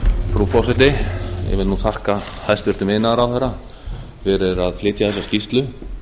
frú forseti ég vil þakka hæstvirtum iðnaðarráðherra fyrir að flytja þessa skýrslu